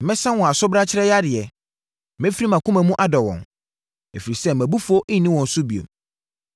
“Mɛsa wɔn asobrakyeɛ yadeɛ. Mɛfiri mʼakoma mu adɔ wɔn, ɛfiri sɛ mʼabufuo nni wɔn so bio.